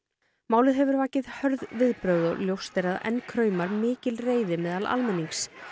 málið hefur vakið hörð viðbrögð og ljóst er að enn kraumar mikil reiði meðal almennings